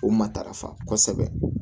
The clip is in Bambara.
O matarafa kosɛbɛ